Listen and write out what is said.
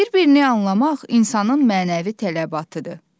Bir-birini anlamaq insanın mənəvi tələbatıdır.